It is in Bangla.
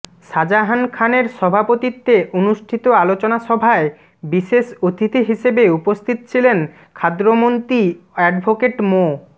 শাজাহান খানের সভাপতিত্বে অনুষ্ঠিত আলোচনা সভায় বিশেষ অতিথি হিসেবে উপস্থিত ছিলেন খাদ্যমন্ত্রী অ্যাডভোকেট মো